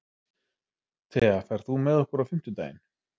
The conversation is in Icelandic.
Thea, ferð þú með okkur á fimmtudaginn?